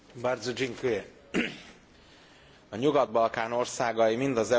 A Nyugat Balkán országai mind az európai integráció útját választották.